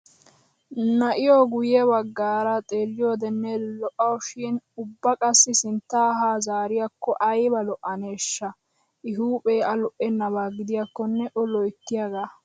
Na'iyoo guyye baggaara xeelliyoodenne lo"awusu shin ubba qassi sinttaa ha zaariyaakko ayba lo"aneesha!. I huuphee A lo"ennabaa gidiyaakkonne o loyttiyaagaa.